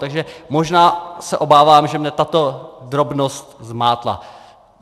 Takže možná se obávám, že mě tato drobnost zmátla.